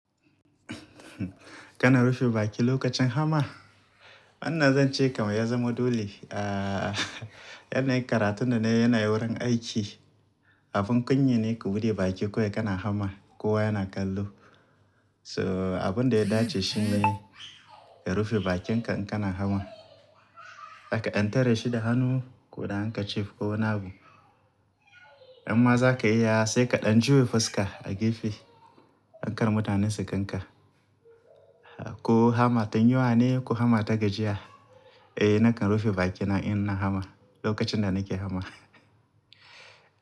Kana rufe baki lokacin hamma? Wannan zan ce kamar ya zama dole. Aaa, yana yi karatun da nayi yanayin wurin aiki. Abun kunya ne ku buɗe baki kawai kana hamma, kowa yana kallo. So abun da ya dace shi ne ka rufe bakinka in kana hama. Karka ɗan tare shi da hannu ko da hanka cif ko wani abu. Imma zaka iya sai ka ɗan juya fuska a gefe, don kar mutane su gan ka. Ko hama, ta yuwa ne ko hama ta gajiya? Eh nakan rufe bakina in ina hama, lokacin da nake hama.